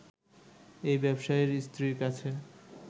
এই ব্যবসায়ীর স্ত্রীর কাছে